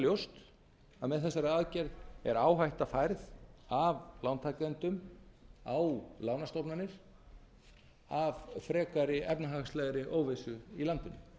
ljóst að með þessari aðgerð er áhætta færð af lántakendum á lánastofnanir af frekari efnahagslegri óvissu í landinu